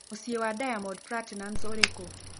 Mũciĩ wa Diamond Platinumz ũrĩ kũ